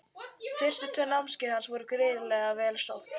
Fyrstu tvö námskeiðin voru gríðarlega vel sótt.